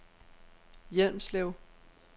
Hjelmslev